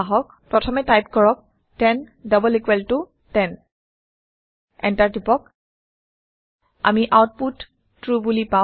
প্ৰথমে টাইপ কৰক 10 double equal ত 10 এণ্টাৰ টিপক আমি আওতপুত ট্ৰু বোলি পাওঁ